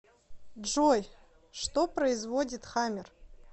джой что производит хаммер